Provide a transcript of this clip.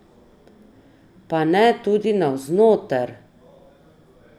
Ne pa tudi navznoter!